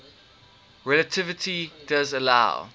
relativity does allow